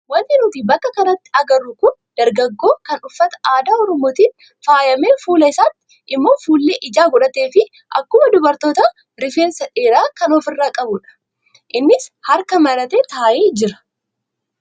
Wanti nuti bakka kanatti agarru kun dargaggoo kan uffata aadaa oromootiin faayamee fuula isaatti immoo fuullee ijaa godhatee fi akkuma dubartootaa rifeensa dheeraa kan ofirraa qabudha. Innis harka maratee taa'ee jira.